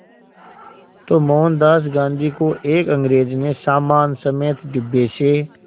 तो मोहनदास गांधी को एक अंग्रेज़ ने सामान समेत डिब्बे से